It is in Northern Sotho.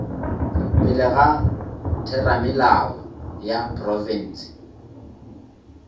pele ga theramelao ya profense